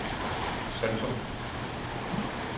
Saltum